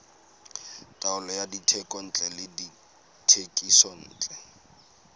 taolo ya dithekontle le dithekisontle